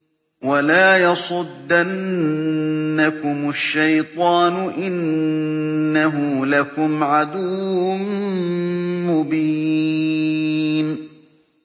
وَلَا يَصُدَّنَّكُمُ الشَّيْطَانُ ۖ إِنَّهُ لَكُمْ عَدُوٌّ مُّبِينٌ